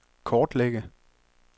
kortlægge